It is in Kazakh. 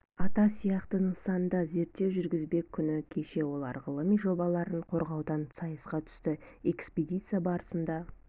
ата сияқты нысанда зерттеу жүргізбек күні кеше олар ғылыми жобаларын қорғаудан сайысқа түсті экспедиция барысында